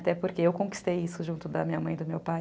Até porque eu conquistei isso junto da minha mãe e do meu pai.